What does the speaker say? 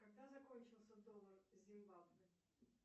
когда закончился доллар зимбабве